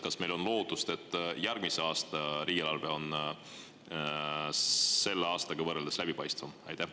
Kas meil on lootust, et järgmise aasta riigieelarve on selle aasta eelarvega võrreldes läbipaistvam?